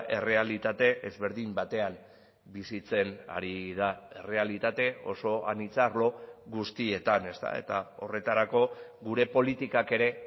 errealitate ezberdin batean bizitzen ari da errealitate oso anitza arlo guztietan ezta eta horretarako gure politikak ere